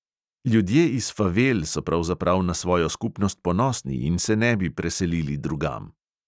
Ljudje iz favel so pravzaprav na svojo skupnost ponosni in se ne bi preselili drugam.